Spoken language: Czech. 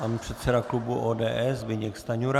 Pan předseda klubu ODS Zbyněk Stanjura.